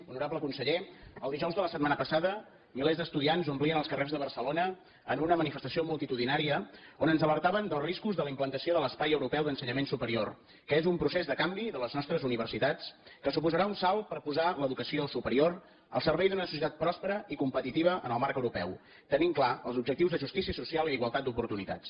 honorable conseller el dijous de la setmana passada milers d’estudiants omplien els carrers de barcelona en una manifestació multitudinària on ens alertaven dels riscos de la implantació de l’espai europeu d’ensenyament superior que és un procés de canvi de les nostres universitats que suposarà un salt per posar l’educació superior al servei d’una societat pròspera i competitiva en el marc europeu tenint clars els objectius de justícia social i d’igualtat d’oportunitats